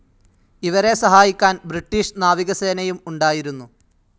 ഇവരെ സഹായിക്കാൻ ബ്രിട്ടീഷ് നാവികസേനയും ഉണ്ടായിരുന്നു.